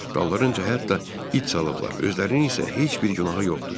Dallarınca hətta it salıblar, özlərinin isə heç bir günahı yoxdur.